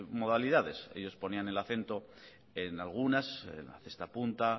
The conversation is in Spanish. modalidades ellos ponían el acento en algunas en la cesta punta